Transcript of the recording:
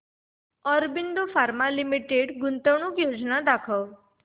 Aurobindo pharma limited गुंतवणूक योजना दाखव